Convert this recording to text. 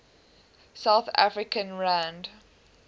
south african rand